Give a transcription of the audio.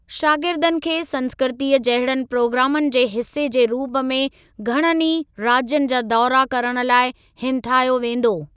शागिर्दनि खे संस्कृतीअ जहिड़नि प्रोग्रामनि जे हिसे जे रूप में घणनि ई राज्यनि जा दौरा करण लाइ हिमथायो वेंदो।